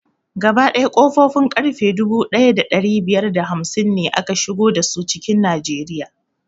Gaba ɗaya ƙofofin ƙarfe dubu ɗaya da ɗari biyar da hamsin ne aka shigo dasu cikin najeriya